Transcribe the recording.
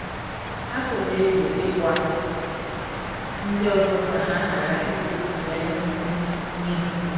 Atụla egwu ịgwa ndị ọzọ ka ha ghara ise siga n’ihu n’ihu gị.